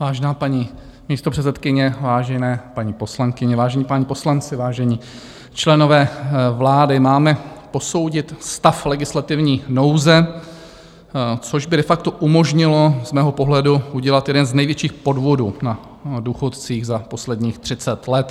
Vážená paní místopředsedkyně, vážené paní poslankyně, vážení páni poslanci, vážení členové vlády, máme posoudit stav legislativní nouze, což by de facto umožnilo z mého pohledu udělat jeden z největších podvodů na důchodcích za posledních 30 let.